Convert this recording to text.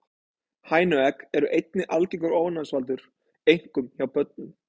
Hænuegg eru einnig algengur ofnæmisvaldur, einkum hjá börnum.